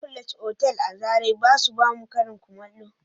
" Immaculate" otal a zarai ba su ba mu Karin kullamo